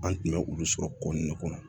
An tun bɛ olu sɔrɔ ko nun de kɔnɔ